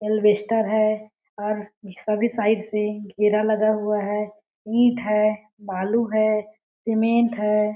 एलवेसटर है और इसका भी साइड से घेरा लगा हुआ है ईंट है बालू है सीमेंट है।